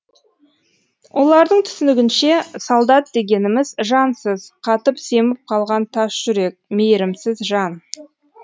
олардың түсінігінше солдат дегеніміз жансыз қатып семіп қалған тас жүрек мейірімсіз жан